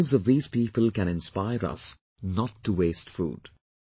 The lives of these people can inspire us not to waste food